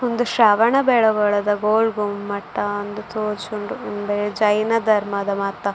ಉಂದು ಶ್ರವಣ ಬೆಳಗೊಳದ ಗೋಳ್ಗುಮ್ಮಟ ಅಂದ್ ತೋಜುಂಡು ಉಂದು ಜೈನ ಧರ್ಮದ ಮಾತ --